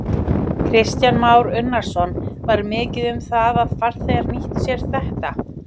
Kristján Már Unnarsson: Var mikið um það að farþegar nýttu sér þetta?